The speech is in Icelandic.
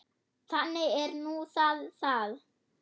Þannig er nú það það.